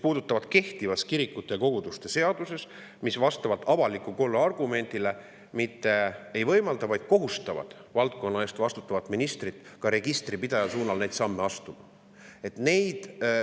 Need on kehtivas kirikute ja koguduste seaduses, mis avaliku korra argumendile toetudes mitte ei võimalda teatud samme astuda, vaid kohustab valdkonna eest vastutavat ministrit ka registripidaja suunal.